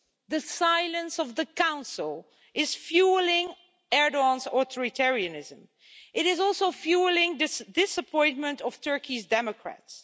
The silence of the Council is fuelling Erdoğan's authoritarianism. It is also fuelling the disappointment of Turkey's democrats.